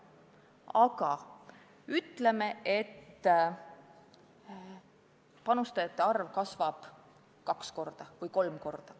Aga ütleme, et panustajate arv kasvab kaks või kolm korda.